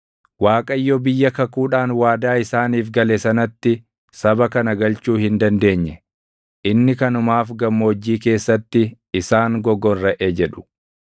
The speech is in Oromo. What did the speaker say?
‘ Waaqayyo biyya kakuudhaan waadaa isaaniif gale sanatti saba kana galchuu hin dandeenye; inni kanumaaf gammoojjii keessatti isaan gogorraʼe’ jedhu.